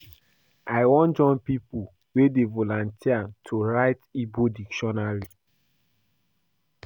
I wan join pipo wey dey volunteer to write Igbo dictionary.